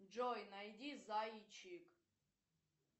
джой найди зайчик